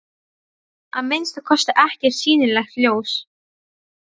Að minnsta kosti ekkert sýnilegt ljós.